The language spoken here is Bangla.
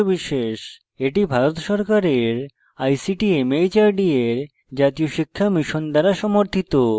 এটি ভারত সরকারের ict mhrd এর জাতীয় শিক্ষা mission দ্বারা সমর্থিত